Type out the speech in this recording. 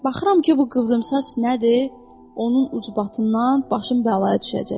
Baxıram ki bu qıvrımsaç nədir, onun ucbatından başım bəlaya düşəcək.